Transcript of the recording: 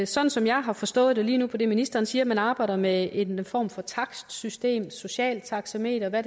sådan som jeg har forstået det lige nu på det ministeren siger om at man arbejder med en form for takstsystem socialt taxameter eller